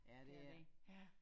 Ja det er ja